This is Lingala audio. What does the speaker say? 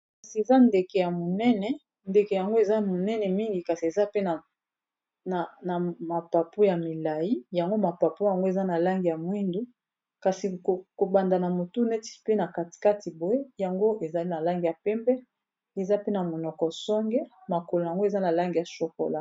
kasi eza ndeke ya monene , ndeke yango eza monene mingi kasi eza pe na mapapo ya milai yango mapapo yango eza na langi ya mwindu kasi kobanda na motu neti pe na katikati boye yango ezali na langi ya pembe eza pe na monoko songe ,makolo yango eza na langi ya chokola.